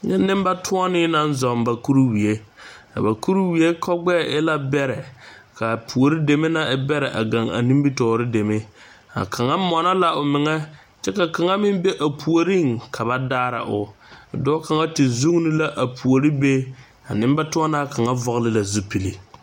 Nyɛ nenbatonne naŋ zuŋ ba kuriwie a ba kuriwie kogbɛɛ e la beɛre kaa puori deme na e beɛre gaŋ a nimitɔre deme, a kaŋa monno la o meŋɛ kyɛ ka kaŋa meŋ be a puoriŋ ka ba daara o . Dɔɔ kaŋa te vuune la a puori be a nenbatonnaa kaŋa vɔgeli la zupili.